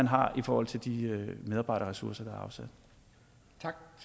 har i forhold til de medarbejderressourcer